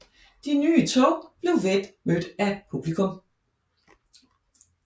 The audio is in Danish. De nye tog blev vel modtaget af publikum